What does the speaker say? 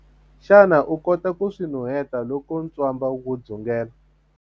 Xana u kota ku swi nuheta loko ntswamba wu dzungela?